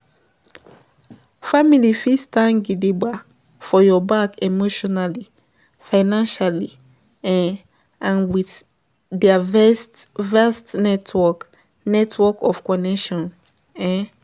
Family fit stand gidigba for your back emotionally, financially um and with their vast vast network, network of connection.